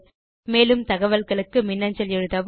மேலும் தகவல்களுக்கு மின்னஞ்சல் எழுதவும்